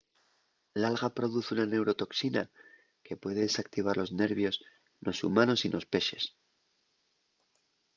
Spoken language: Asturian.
l’alga produz una neurotoxina que puede desactivar los nervios nos humanos y nos pexes